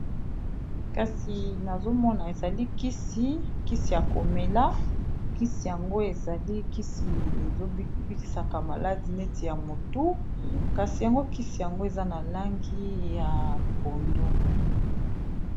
Kasi nazomona ezali kisi ya komela kisi yango ezali kisi ezobikisaka maladi neti ya motu kasi yango kisi yango eza na langi ya pondo.